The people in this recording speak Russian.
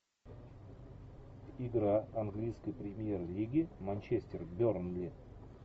игра английской премьер лиги манчестер бернли